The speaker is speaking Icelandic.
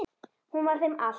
Hún var þeim allt.